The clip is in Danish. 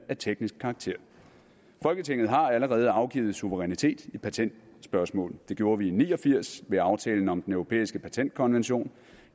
teknisk karakter folketinget har allerede afgivet suverænitet i patentspørgsmål det gjorde vi i nitten ni og firs ved aftalen om den europæiske patentkonvention